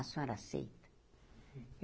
A senhora aceita?